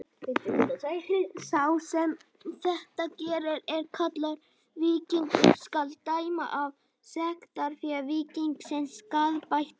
Sá sem þetta gerir er kallaður víkingur: skal dæma af sektarfé víkingsins skaðabætur.